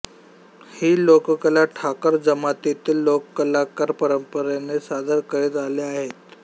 ही लोककला ठाकर जमातीतील लोककलाकार परंपरेने सादर करीत आले आहेत